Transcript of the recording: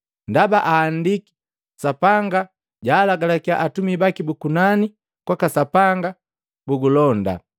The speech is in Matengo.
Ndaba ahandiki, ‘Sapanga jaalagalakya atumi baki bu kunani kwaka Sapanga bugulonda.’